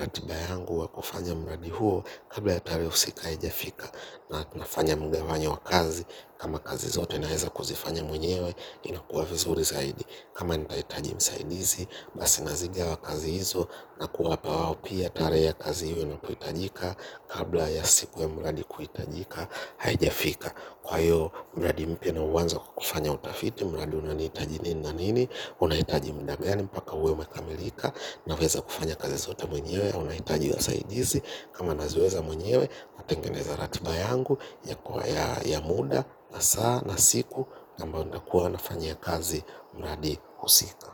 ratiba yangu wa kufanya mradi huo. Kabla ya tarehe husika haijafika na nafanya mgawanyo wa kazi, kama kazi zote naweza kuzifanya mwenyewe inakuwa vizuri zaidi kama nitahitaji msaidizi basi nazigawa kazi hizo na kuwapa wao pia tarehe ya kazi hiyo na kuitajika kabla ya siku ya mradi kuhitajika haijafika kwa hiyo mradi mpya nauanza kwa kufanya utafiti mradi unanihitaji nini na nini unahitaji muda gani mpaka uwe umekamilika naweza kufanya kazi zote mwenyewe au nahitaji wasaidizi, kama naziweza mwenyewe natengeneza ratiba yangu ya muda, na saa na siku ambao nakua nafanyia kazi mradi husika.